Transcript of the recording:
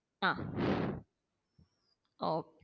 ആ ഓ